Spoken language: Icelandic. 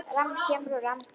Rafmagn kemur og rafmagn fer.